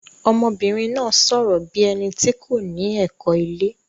Ọmọbìnrin náà sọ̀rọ̀ bí ẹni tí kò ní ẹ̀kọ́ ilé.